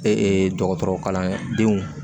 Ee dɔgɔtɔrɔkalandenw